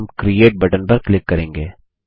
और हम create button पर क्लिक करेंगे